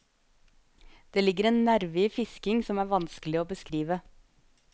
Det ligger en nerve i fisking som er vanskelig å beskrive.